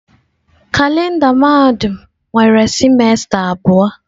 Kalenda mahadum nwere sịmesta abụọ.